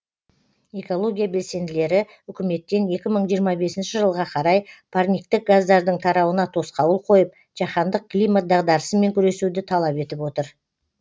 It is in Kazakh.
экология белсенділері үкіметтен екі мың жиырма бесінші жылға қарай парниктік газдардың тарауына тосқауыл қойып жаһандық климат дағдарысымен күресуді талап етіп отыр